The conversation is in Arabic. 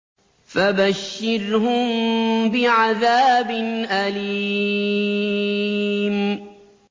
فَبَشِّرْهُم بِعَذَابٍ أَلِيمٍ